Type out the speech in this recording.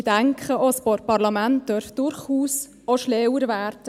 Ich denke, auch ein Parlament darf durchaus auch klüger werden.